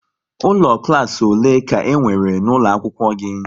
Ụlọ klas ole ka e nwere n'ụlọ akwụkwọ gị?